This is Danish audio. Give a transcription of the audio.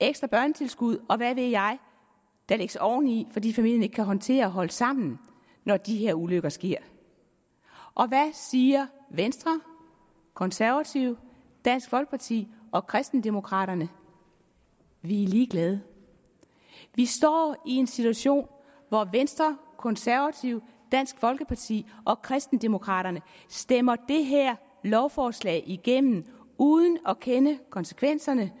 ekstra børnetilskud og hvad ved jeg der lægges oveni fordi familien ikke kan håndtere at holde sammen når de her ulykker sker hvad siger venstre konservative dansk folkeparti og kristendemokraterne vi er ligeglade vi står i en situation hvor venstre konservative dansk folkeparti og kristendemokraterne stemmer det her lovforslag igennem uden at kende konsekvenserne